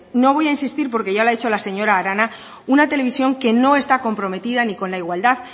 no voy a insistir porque ya lo ha hecho la señora arana una televisión que no está comprometida ni con la igualdad